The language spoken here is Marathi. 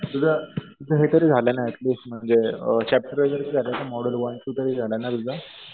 तुझं हे तरी झाली ना ऍटलीस्ट म्हणजे चॅप्टर वगैरे तर झाले ना. मॉड्यूल वन ते तरी झालं ना तुझं?